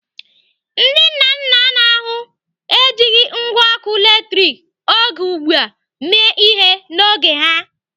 Ndị nna nna n'ahụ ejighị ngwá ọkụ latrik oge ugbu a mee ihe n'oge ha.